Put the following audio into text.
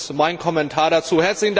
Das ist mein Kommentar dazu.